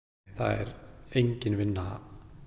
það er engin vinna